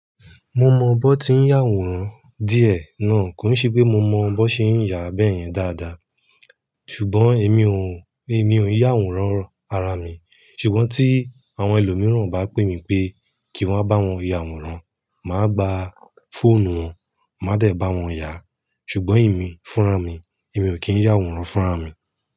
Mo mọ bọ́ tí ń yàwòrán díẹ̀ náà, kò n se pé mo mọ bọ́ ṣe ń yà bẹ́yẹn dáadáa. Ṣùgbọ́n èmi ò, èmi ò yàwòrán ara mi. Ṣùgbọ́n tí àwọn ẹlòmíràn bá pè mí pé kí n wa bá wọn yàwòrán, màá gba fóònù wọn, màá dẹ̀ bá wọn yà. Ṣùgbọ́n èmi fúnra mi, èmi ò kí ń yàwòrán fúnra mi.